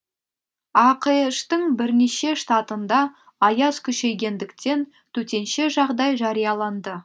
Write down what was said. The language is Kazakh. ақш тың бірнеше штатында аяз күшейгендіктен төтенше жағдай жарияланды